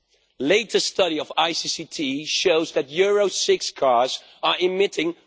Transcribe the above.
The latest study of ICCT shows that Euro 6 cars are emitting